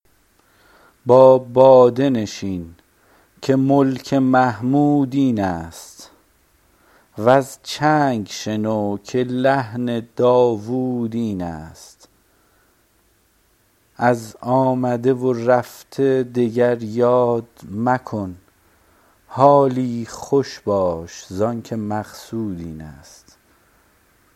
با باده نشین که ملک محمود این است وز چنگ شنو که لحن داوود این است از آمده و رفته دگر یاد مکن حالی خوش باش زانکه مقصود این است